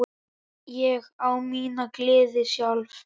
Ég á mína gleði sjálf.